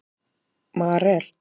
Marel